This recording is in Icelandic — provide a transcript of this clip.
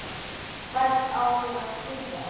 Hvert á ég að flýja?